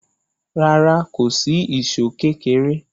Rárá, kò sí ìṣó kékéré.